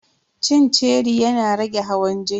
Cin ceri yana rage hawan jini.